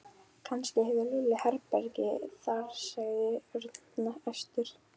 Kannski hefur Lúlli herbergi þar sagði Örn æstur.